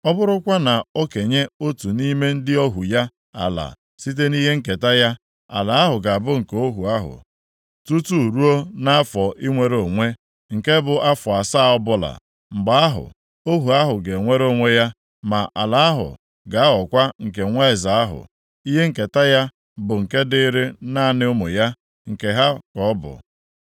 Ọ bụrụkwanụ na o kenye otu nʼime ndị ohu ya ala site nʼihe nketa ya, ala ahụ ga-abụ nke ohu ahụ tutu ruo nʼafọ inwere onwe, nke bụ afọ asaa ọbụla. Mgbe ahụ, ohu ahụ ga-enwere onwe ya, ma ala ahụ ga-aghọkwa nke nwa eze ahụ. Ihe nketa ya bụ nke dịịrị naanị ụmụ ya, nke ha ka ọ bụ.